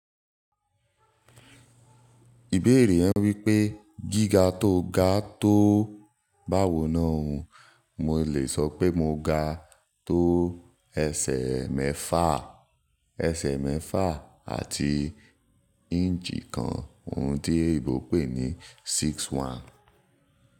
Ìbéèrè yen wípé gíga tó ga tó báwo náà o, mo lè sọ pé mo ga tó ẹsẹ̀ mẹ́fà, ẹsẹ̀ mẹ́fà àti inch kan, ohun tí eyinbo pè ní six one.